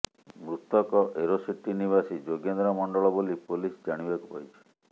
ମୃତକ aero city ନିବାସୀ ଯୋଗେନ୍ଦ୍ର ମଣ୍ଡଳ ବୋଲି ପୋଲିସ ଜାଣିବାକୁ ପାଇଛି